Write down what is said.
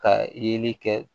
Ka yeli kɛ